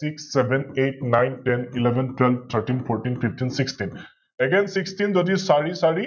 SixSevenEightNineTenElevenTwelveThirteenFourteenFifteenSixteenAgainSixteen যদি চাৰি চাৰি